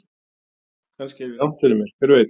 Kannski hef ég rangt fyrir mér, hver veit?